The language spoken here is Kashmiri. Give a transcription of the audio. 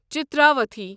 چتراوتھی